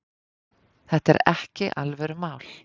Þetta er ekki alvörumál.